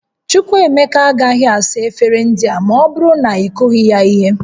Chukwuemeka agaghị asa efere ndị a ma ọ bụrụ na ị kụghị ya ihe